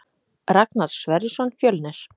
Ragnar Sverrisson Fjölnir